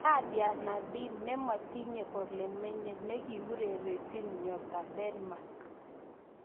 Nadia Nadim:Nematinyei ole menyei ne kiurerenjin Nyota Denmark